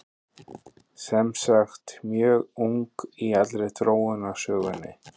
sem sagt mjög ung í allri þróunarsögunni